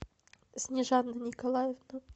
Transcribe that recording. снежана николаевна